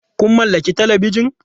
Kun mallaki Talabijan?